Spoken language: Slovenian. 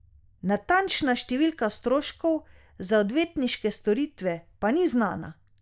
Natančna številka stroškov za odvetniške storitve pa ni znana.